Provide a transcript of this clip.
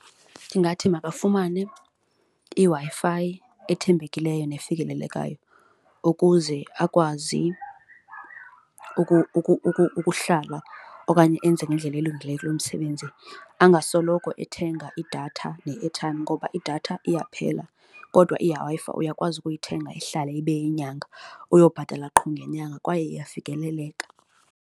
Ndingathi makafumane iWi-Fi ethembekileyo nefikelelekayo ukuze akwazi ukuhlala okanye enze ngendlela elungileyo kulo msebenzi, angasoloko ethenga idatha ne-airtime ngoba idatha iyaphela kodwa iWi-Fi uyakwazi ukuyithenga ihlale ibe yinyanga uyobhatala qho ngenyanga kwaye iyafikeleleka.